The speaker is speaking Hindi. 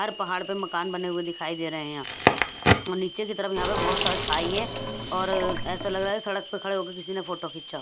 हर पहाड़ पर मकान बने हुए दिखाई दे रहे हैं यहाँ और नीचे की तरफ यहाँ पर बहुत सारा खाई है और ऐसा लग रहा है सड़क पर खड़े होकर किसी ने फोटो खींचा।